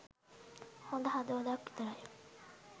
හොඳ හදවතක් විතරයි.